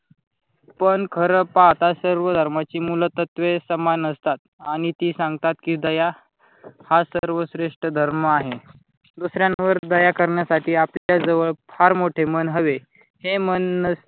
पण खार पाहता सर्व धर्माची मुलतत्वे सामान असतात. आणि ती सांगतात कि दया हाच सर्वश्रेष्ठ धर्म आहे. दुसऱ्यांवर दया करण्यासाठी आपल्याजवळ फार मोठे मन हवे. हे मनस